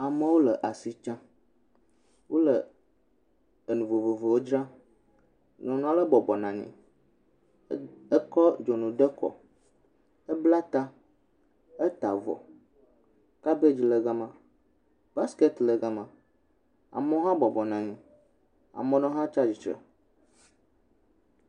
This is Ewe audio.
Amewo le asi tsam, wole enu vovovowo dzram, nyɔnu aɖe bɔbɔ nɔ anyi, ekɔ dzunu de kɔ, ebla ta, eta avɔ, kabedzi le gama, baskɛt le gama, amewo hã bɔbɔ nɔ anyi, amewo hã tsatsitre.